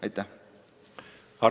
Aitäh!